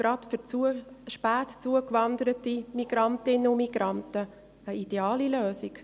Es ist gerade auch für spät zugewanderte Migrantinnen und Migranten eine ideale Lösung.